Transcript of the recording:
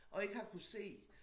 Og ikke har kunnet se